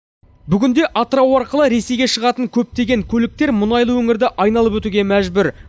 бүгінде атырау арқылы ресейге шығатын көптеген көліктер мұнайлы өңірді айналып өтуге мәжбүр